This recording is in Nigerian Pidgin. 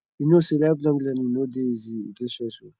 you no know sey lifelong learning no dey easy e dey stressful